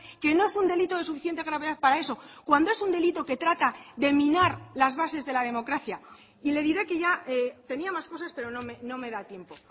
que no es un delito de suficiente gravedad para eso cuando es un delito que trata de minar las bases de la democracia y le diré que ya tenía más cosas pero no me da tiempo